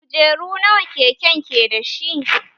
Kujeru nawa keken ke dashi?